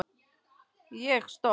Ég stopp